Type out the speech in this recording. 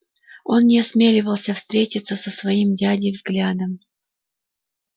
он не осмеливался встретиться со своим дядей взглядом